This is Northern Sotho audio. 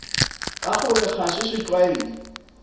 ka gore ga se setlwaedi